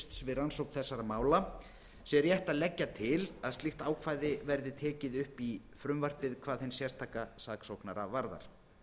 rannsókn þessara mála sé rétt að leggja til að slíkt ákvæði verði tekið upp í frumvarpið hvað hinn sérstaka saksóknara varðar